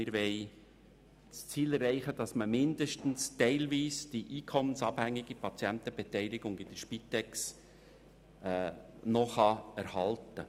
Wir wollen damit die einkommensabhängige Patientenbeteiligung bei der Spitex zumindest teilweise erhalten.